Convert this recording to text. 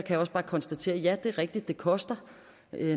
jeg også bare konstatere ja det er rigtigt at det koster